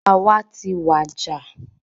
Ọba wa tí wàjà